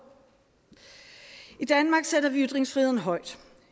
i danmark sætter vi ytringsfriheden højt